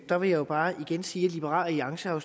der vil jeg bare igen sige at liberal alliance jo